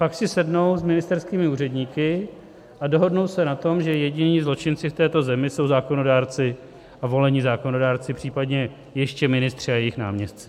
Pak si sednou s ministerskými úředníky a dohodnou se na tom, že jediní zločinci v této zemi jsou zákonodárci a volení zákonodárci, případně ještě ministři a jejich náměstci.